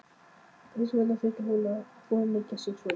Hvers vegna þurfti hún að auðmýkja sig svona?